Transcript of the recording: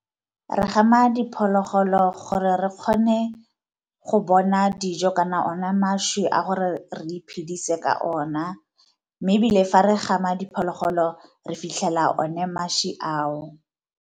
Re gama diphologolo gore re kgone go bona dijo kana ona mašwi a gore re iphedise ka ona, mme ebile fa re gama diphologolo re fitlhela one mašwi ao.